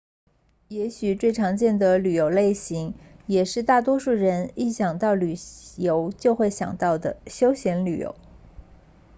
也许最常见的旅游类型也是大多数人一想到旅游就会想到的休闲旅游